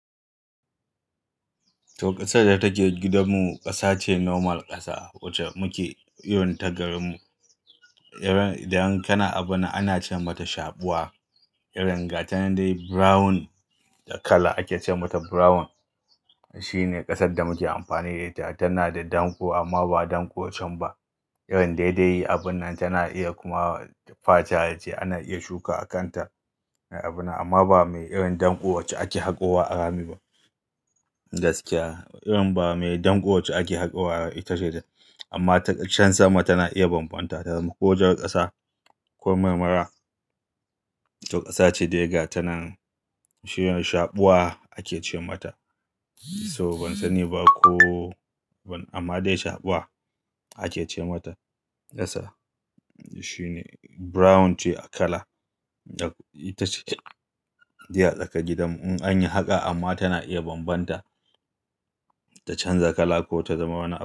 To, ƙasar da take gidanmu ƙasa ce normal ƙasa wacce muke iyo ta garinmu. Irin idan kana abu na ana ce mata shaɓuwa. Irin gata dai brown da kala ake ce mata brown. Shine ƙasar da muke amfani da ita. Tana da danƙo amma ba danƙo cham ba. Irin daidai abun nan tana iya kuma faca, ace ana iya shuka a kan ta abuna amma ba mai irin danƙo wacce ake haƙowa a rami ba. Gaskiya irin ba me danƙo wacce ake haƙowa rami ita ce. Amma ta can sama tana iya bambanta ta zama ko jar ƙasa ko marmara. To ƙasa ce dai ga tanen shine shaɓuwa ake ce mata. So ban sani ba ko amma dai shaɓuwa ake ce mata ƙasa. Shine brown ce a kala ita ce. Diya tsakar gidanmu in an yi haƙa amma tana iya bambanta ta canza kala ko ta zama wani.